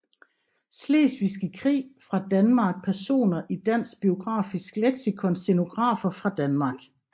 Slesvigske Krig fra Danmark Personer i Dansk Biografisk Leksikon Scenografer fra Danmark